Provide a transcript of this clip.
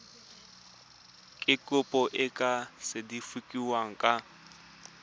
kopo e tla sekasekiwa ka